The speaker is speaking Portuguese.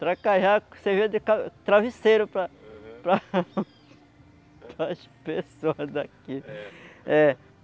Tracajá servia de travesseiro para para para as pessoas daqui. É. É.